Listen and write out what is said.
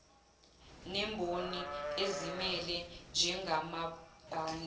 nemboni ezimele njengamabhange